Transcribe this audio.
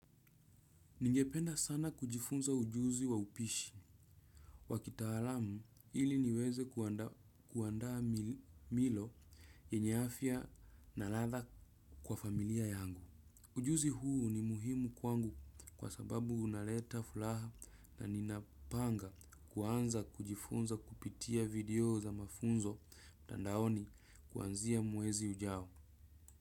Ningependa sana kujifunza ujuzi wa upishi wakitalamu ili niweze kuandaa milo yenye afia na latha kwa familia yangu. Ujuzi huu ni muhimu kwangu kwa sababu unaleta furaha na ninapanga kuanza kujifunza kupitia video za mafunzo mtadaoni kuanzia mwezi ujao.